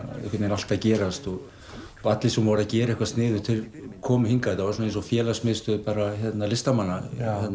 allt að gerast allir sem voru að gera eitthvað sniðugt komu hingað þetta var félagsmiðstöð listamanna